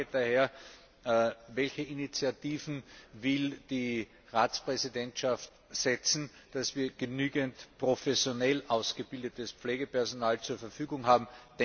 Daher meine Frage Welche Initiativen will die Ratspräsident ergreifen, damit wir genügend professionell ausgebildetes Pflegepersonal zur Verfügung haben?